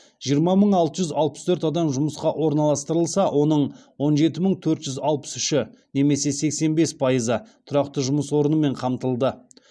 жиырма мың алты жүз алпыс төрт адам жұмысқа орналастырылса оның он жеті мың төрт жүз алпыс үші немесе сексен бес пайызы тұрақты жұмыс орнымен қамтылды